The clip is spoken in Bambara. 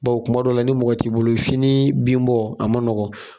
Baw kuma dɔw la ni mɔgɔ t'i bolo fini binbɔ a ma nɔgɔn.